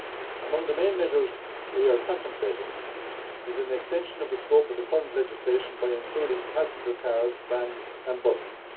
Among the main measures we are contemplating is an extension of the scope of the current legislation by including passenger cars, vans and buses.